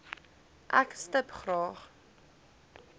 ek stip graag